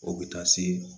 O bɛ taa se